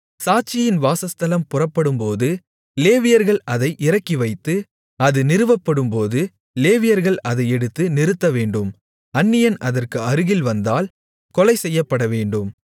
சாட்சியின் வாசஸ்தலம் புறப்படும்போது லேவியர்கள் அதை இறக்கிவைத்து அது நிறுவப்படும்போது லேவியர்கள் அதை எடுத்து நிறுத்தவேண்டும் அந்நியன் அதற்கு அருகில் வந்தால் கொலை செய்யப்படவேண்டும்